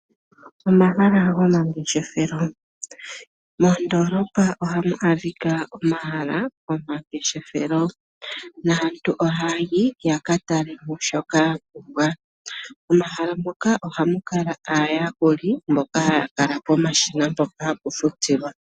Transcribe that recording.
Omahala gomaangeshefelo, moondolopa ohamu adhika omahala gomangeshefelo, naantu ohaya yi yakatale mo shoka yapumbwa. Momahala moka ohamu kala aayakuli mboka haya kala pomashina mpoka ha pu futilwa.